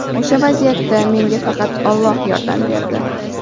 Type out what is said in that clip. O‘sha vaziyatda menga faqat Olloh yordam berdi.